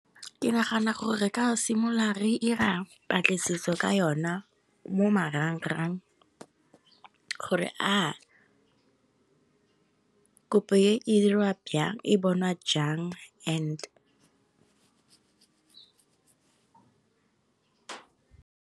Ke nagana gore re ka simolola re ira patlisiso ka yona. Mo marang-rang gore kopo e dirwa jang e bonwa jang and.